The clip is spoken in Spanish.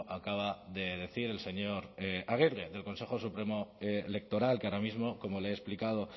acaba de decir el señor aguirre del consejo supremo electoral que ahora mismo como le he explicado